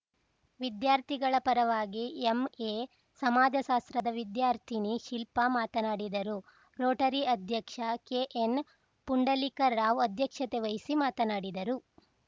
ವಿದ್ಯಾರ್ಥಿಗಳ ಪರವಾಗಿ ಎಂಎ ಸಮಾಜಶಾಸ್ತ್ರದ ವಿದ್ಯಾರ್ಥಿನಿ ಶಿಲ್ಪಾ ಮಾತನಾಡಿದರು ರೋಟರಿ ಅಧ್ಯಕ್ಷ ಕೆ ಎನ್‌ ಪುಂಡಲೀಕರಾವ್‌ ಅಧ್ಯಕ್ಷತೆ ವಹಿಸಿ ಮಾತನಾಡಿದರು